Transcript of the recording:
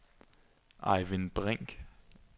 Ejvind Brink